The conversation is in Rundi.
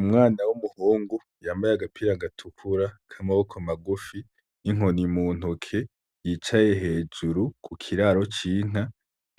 Umwana w'umuhungu yambaye agapira gatukura k'amaboko magufi n'inkoni muntoke yicaye hejuru kukiraro c'inka